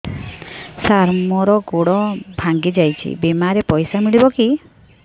ସାର ମର ଗୋଡ ଭଙ୍ଗି ଯାଇ ଛି ବିମାରେ ପଇସା ମିଳିବ କି